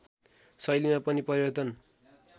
शैलीमा पनि परिवर्तन